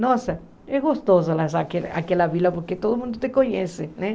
Nossa, é gostoso aque aquela vila porque todo mundo te conhece, né?